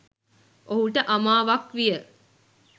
ඔහුට අමාවක් විය